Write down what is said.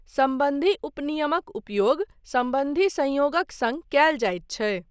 सम्बन्धी उपनियमक उपयोग सम्बन्धी संयोगक सङ्ग कयल जाइत छै।